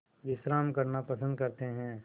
विश्राम करना पसंद करते हैं